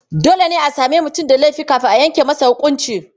Dole ne a sami mutum da laifi kafin a yanke masa huƙunci.